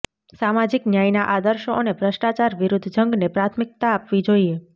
સામાજીક ન્યાયના આદર્શો અને ભ્રષ્ટાચાર વિરૂદ્ધ જંગને પ્રાથમિકતા આપવી જોઈએ